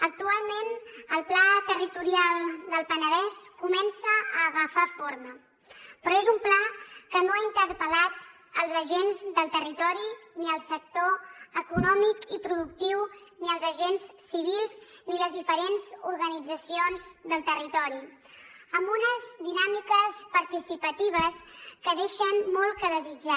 actualment el pla territorial del penedès comença a agafar forma però és un pla que no ha interpel·lat els agents del territori ni el sector econòmic i productiu ni els agents civils ni les diferents organitzacions del territori amb unes dinàmiques participatives que deixen molt a desitjar